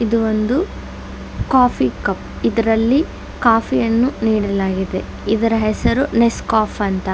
ಇದು ಒಂದು coffee cup ಇದರಲ್ಲಿ ಕಾಫೀ ಅನ್ನು ನೀಡಲಾಗಿದೆ ಇದರ ಹೆಸರು ನೆಸ್ ಕಾಫೀ ಅಂತ.